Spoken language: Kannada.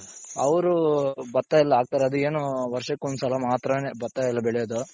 ಅವ್ರು ಭತ್ತ ಎಲ್ಲಾ ಹಾಕ್ತಾರೆ ಅದು ಏನು ವರ್ಷಕ್ಕೊಂದ್ ಸಲ ಮಾತ್ರನೇ ಭತ್ತ ಎಲ್ಲಾ ಬೆಳೆಯೋದು.